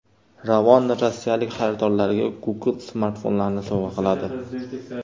Ravon rossiyalik xaridorlariga Google smartfonlarini sovg‘a qiladi .